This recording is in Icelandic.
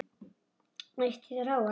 Hvernig leist þér á hann?